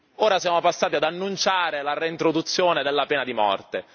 Ora siamo passati ad annunciare la reintroduzione della pena di morte.